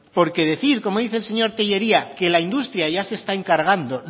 porque decir como dice el señor tellería que la industria ya se está encargando